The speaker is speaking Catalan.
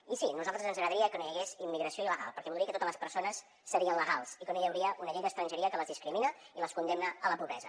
i sí a nosaltres ens agradaria que no hi hagués immigració il·legal perquè voldria dir que totes les persones serien legals i que no hi hauria una llei d’estrangeria que les discrimina i les condemna a la pobresa